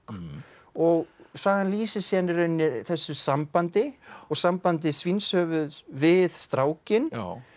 og sagan lýsir síðan í rauninni þessu sambandi og sambandi Svínshöfuðs við strákinn